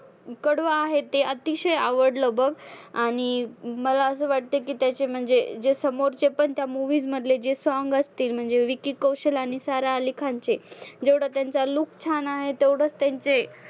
कडवं आहे ते अतिशय आवडलं बघ. आणि मला असं वाटतं की त्याची म्हणजे जे समोरचे पण त्या movies मधले जे song असतील म्हणजे विकी कौशल आणि सारा आली खानचे, जेवढं त्यांचा look छान आहे तेवढंच त्यांचे